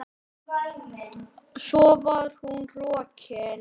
Svo var hún rokin.